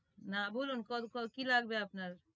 না বলুন কি লাগবে আপনার